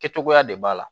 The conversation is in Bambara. Kɛ cogoya de b'a la